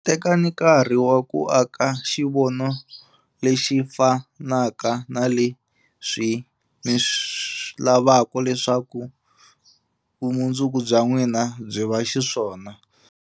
Tekani nkarhi wa ku aka xivono lexi fanaka xa leswi mi lavaka leswaku vumundzuku bya n'wina byi va xiswona.